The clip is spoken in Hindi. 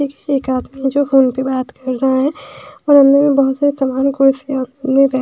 एक आदमी है जो फोन पे बात कर रहा है और अंदर में बहुत सारी सामान कुर्सी--